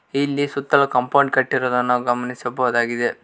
ಇಲ್ಲಿ ಸೂತ್ತಲು ಕಾಂಪೌಂಡ್ ಕಟ್ಟಿರುದು ನಾವು ಗಮನಿಸಬಹುದಾಗಿದೆ.